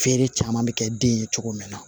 Feere caman bɛ kɛ den ye cogo min na